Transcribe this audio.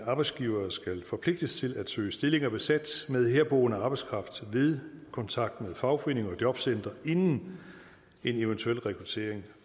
at arbejdsgivere skal forpligtes til at søge stillinger besat med herboende arbejdskraft ved kontakt med fagforeninger og jobcentre inden en eventuelt rekruttering